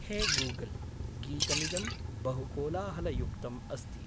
हे गूगल्, गीतमिदं बहु कोलाहलयुक्तम् अस्ति।